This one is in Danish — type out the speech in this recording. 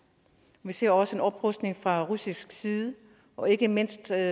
vi ser også en oprustning fra russisk side og ikke mindst ser